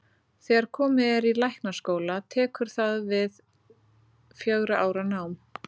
Þegar komið er í læknaskóla tekur þar við fjögurra ára nám.